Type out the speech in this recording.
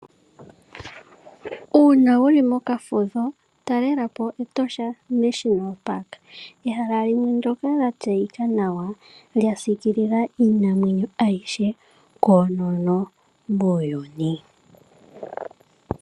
Uuna wuli mokafudho talelapo Oshikunino shiinamwenyo Etosha. Ehala limwe ndyoka lya tseyika nawa, lya siikilila iinamwenyo ayihe koonono muuyuni.